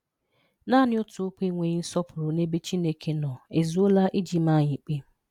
Nani òtù okwụ́ enweghị nsọpụrụ n'ebe Chineke nọ, ezuola iji máá anyị ịkpé.